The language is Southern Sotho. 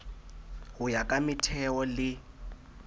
ho ya ka metheo le